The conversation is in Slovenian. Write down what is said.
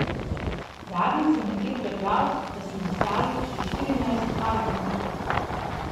Zadnjič sem nekje prebral, da smo izdali že štirinajst albumov.